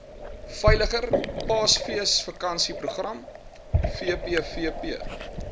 veiliger paasfeesvakansieprogram vpvp